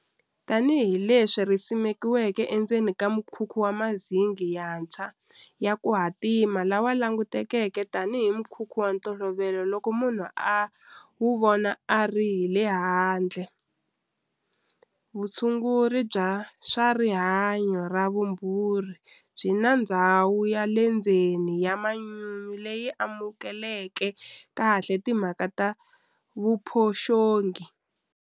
Tanihileswi ri simekiwike endzeni ka mukhukhu wa mazinghi yantshwa ya ku hatima lowu langutekaka tanihi mukhukhu wa ntolovelo loko munhu a wu vona a ri hi le handle, vutshunguri bya swa rihanyu na vumbhuri byi na ndhawu ya le ndzeni ya manyunyu leyi lulameleke kahle timhaka ta vuphoxongi.